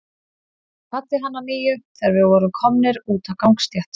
Ég kvaddi hann að nýju, þegar við vorum komnir út á gangstétt.